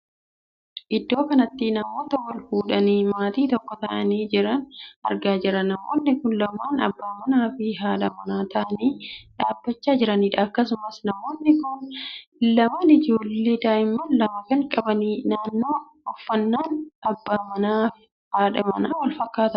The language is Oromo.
Iddoo kanatti namoota wal fuudhanii maatii tokko taa'anii jiran argaa jirra. namoonni kun lamaan abbaa manaa fi haadha manaa taa'anii dhaabbachaa jiranidha. akkasumas namoonni kun lamaan ijoollee daa'ima lama kan qabanidha. uffannaan abbaa manaaf haadhi manaa wal fakkaataadha.